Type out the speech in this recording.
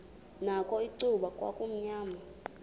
nakho icuba kwakumnyama